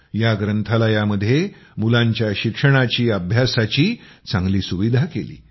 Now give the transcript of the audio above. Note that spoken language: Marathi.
या ग्रंथालयामध्ये मुलांच्या शिक्षणाची अभ्यासाची चांगली सुविधा केली